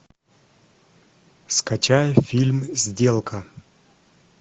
скачай фильм сделка